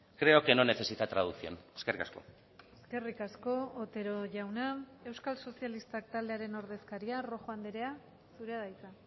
creo que no necesita traducción eskerrik asko eskerrik asko otero jauna euskal sozialistak taldearen ordezkaria rojo andrea zurea da hitza